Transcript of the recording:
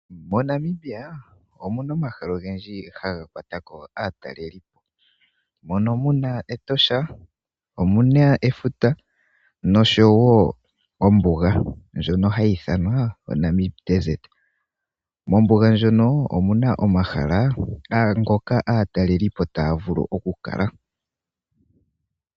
MoNamibia omuna omahala ogendji haga kwatako aatalelipo. Mono muna Etosha, muna efuta noshowo ombuga ndjono hayi ithanwa oNamib desert. Ombuga ndjono omu na omahala ngono aatalelipo taya vulu oku kala.